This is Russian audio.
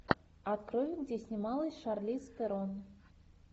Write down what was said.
открой где снималась шарлиз терон